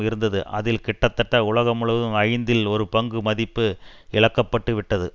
இருந்தது அதில் கிட்டதட்ட உலகம் முழுவதும் ஐந்தில் ஒரு பங்கு மதிப்பு இழக்கப்பட்டுவிட்டது